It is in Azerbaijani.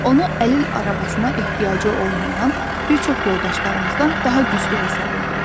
Onu əlil arabasına ehtiyacı olmayan bir çox yoldaşlarımızdan daha güclü hesab edirik.